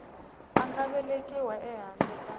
a nga velekiwa ehandle ka